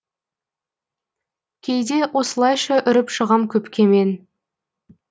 кейде осылайша үріп шығам көпке мен